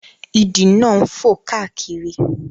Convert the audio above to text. Ìdì náà ń fò káàkiri